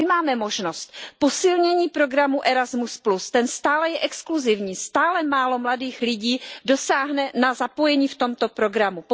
A my máme možnost posílení programu Erasmus, ten stále je exkluzivní, stále málo mladých lidí dosáhne na zapojení v tomto programu.